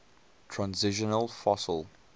transitional fossil